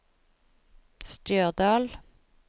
Stjørdal